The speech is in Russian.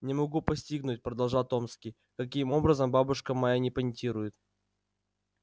не могу постигнуть продолжал томский каким образом бабушка моя не понтирует